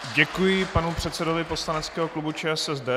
Děkuji panu předsedovi poslaneckého klubu ČSSD.